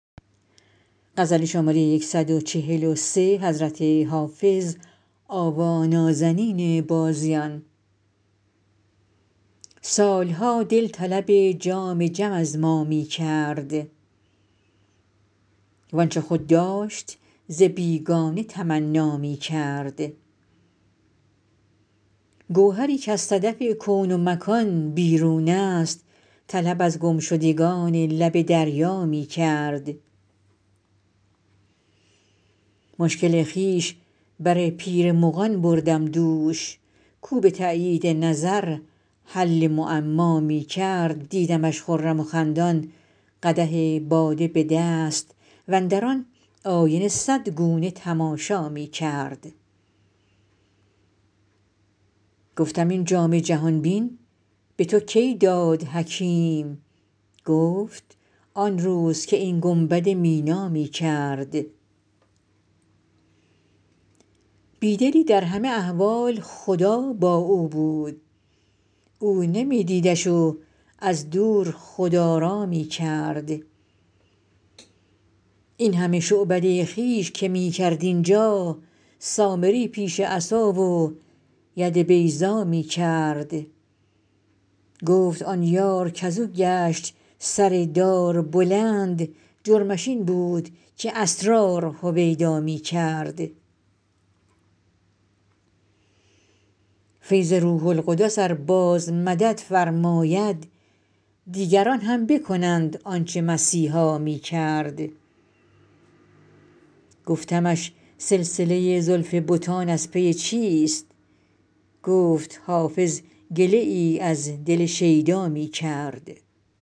سال ها دل طلب جام جم از ما می کرد وآنچه خود داشت ز بیگانه تمنا می کرد گوهری کز صدف کون و مکان بیرون است طلب از گمشدگان لب دریا می کرد مشکل خویش بر پیر مغان بردم دوش کاو به تأیید نظر حل معما می کرد دیدمش خرم و خندان قدح باده به دست واندر آن آینه صد گونه تماشا می کرد گفتم این جام جهان بین به تو کی داد حکیم گفت آن روز که این گنبد مینا می کرد بی دلی در همه احوال خدا با او بود او نمی دیدش و از دور خدارا می کرد این همه شعبده خویش که می کرد اینجا سامری پیش عصا و ید بیضا می کرد گفت آن یار کز او گشت سر دار بلند جرمش این بود که اسرار هویدا می کرد فیض روح القدس ار باز مدد فرماید دیگران هم بکنند آن چه مسیحا می کرد گفتمش سلسله زلف بتان از پی چیست گفت حافظ گله ای از دل شیدا می کرد